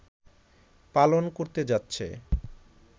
পালন করতে যাচ্ছে